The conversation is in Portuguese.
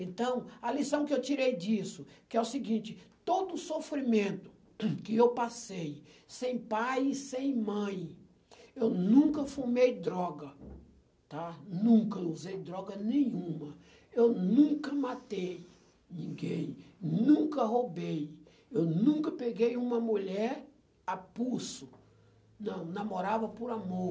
Então, a lição que eu tirei disso, que é o seguinte, todo o sofrimento que eu passei sem pai e sem mãe, eu nunca fumei droga, tá? Nunca usei droga nenhuma, eu nunca matei ninguém, nunca roubei, eu nunca peguei uma mulher a pulso, não, namorava por amor.